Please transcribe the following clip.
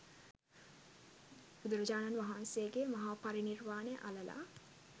බුදුරජාණන් වහන්සේ ගේ මහා පරිනිර්වාණය අළලා